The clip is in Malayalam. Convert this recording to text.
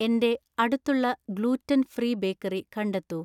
എന്‍റെ അടുത്തുള്ള ഗ്ലൂറ്റൻ ഫ്രീ ബേക്കറി കണ്ടെത്തൂ